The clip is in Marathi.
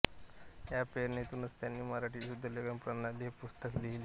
या प्रेरणेतूनच त्यांनी मराठी शुद्धलेखन प्रणाली हे पुस्तक लिहिले